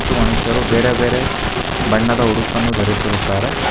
ಮನುಷ್ಯರು ಬೇರೆಬೇರೆ ಬಣ್ಣದ ಉಡುಪನ್ನು ಧರಿಸಿರುತ್ತಾರೆ.